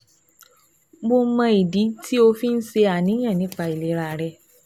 Mo mọ ìdí tí o fi ń ṣàníyàn nípa ìlera rẹ